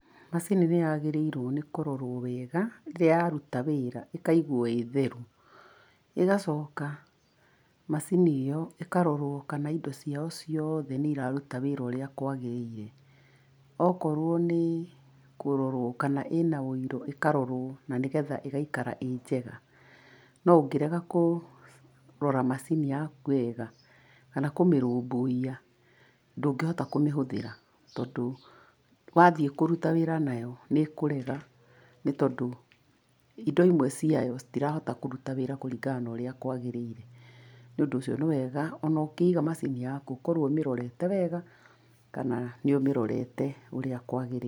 Macini nĩ yagĩrĩirwo nĩ kũrorwo wega rĩrĩa yaruta wĩra ĩkaigwo ĩĩ theru, ĩgacoka macini ĩyo ĩkarorwo kana indo ciao ciothe nĩ iraruta wĩra wega ũrĩa kwagĩrĩire. Okorwo nĩ kũrorwo kana ĩna ũiro, ĩkarorwo na nĩgetha ĩgaikara ĩ njega. No ũngĩrega kũrora macini yaku wega, kana kũmĩrũmbũiya ndũngĩhota kũmĩhũthĩra, tondũ wathiĩ kũruta wĩra nayo nĩ ĩkũrega, nĩ tondũ indo imwe ciayo citirahota kũruta wĩra kũringana na ũrĩa kwagĩrĩire. Nĩ ũndũ ũcio nĩ wega ona ũkĩiga macini yaku ũkorwo ũmĩrorete wega, kana nĩ ũmĩrorete ũrĩa kwagĩrĩire.